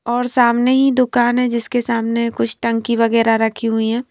और सामने ही दुकान है जिसके सामने कुछ टंकी वगैरह रखी हुई हैं।